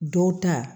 Dɔw ta